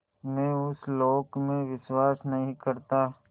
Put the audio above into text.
मैं उस लोक में विश्वास नहीं करता